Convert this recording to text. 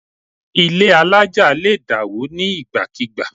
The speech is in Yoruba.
Ilé àlája lè dá wo ni nígbàkigbà